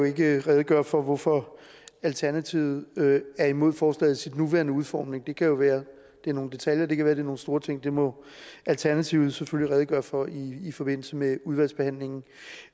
ikke kan redegøre for hvorfor alternativet er imod forslaget i sin nuværende udformning det kan jo være nogle detaljer eller det kan være nogle store ting det må alternativet selvfølgelig redegøre for i forbindelse med udvalgsbehandlingen